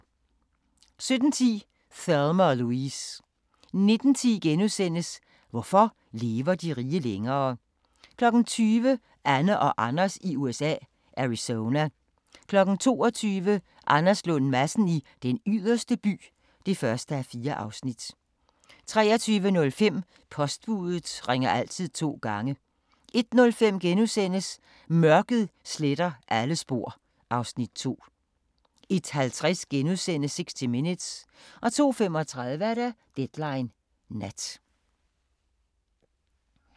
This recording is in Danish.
17:10: Thelma & Louise 19:10: Hvorfor lever de rige længere? * 20:00: Anne og Anders i USA – Arizona 22:00: Anders Lund Madsen i Den Yderste By (1:4) 23:05: Postbudet ringer altid to gange 01:05: Mørket sletter alle spor (Afs. 2)* 01:50: 60 Minutes * 02:35: Deadline Nat